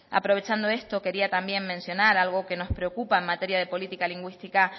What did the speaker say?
aprovechando esto quería también mencionar algo que nos preocupa en materia de política lingüística